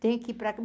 Tem que ir para